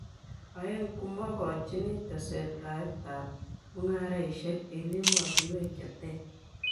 Aeng , komukochini tesetaet ab mung'aresiek eng emotunwek che ter.